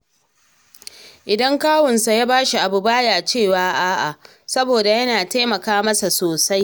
Idan kawunsa ya sa shi abu, ba ya cewa a’a, saboda yana taimaka masa sosai